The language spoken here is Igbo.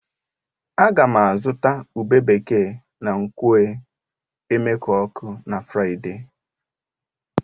Ága m azụta ube bekee na nkwọ̀ e. Emekuku na Fraịde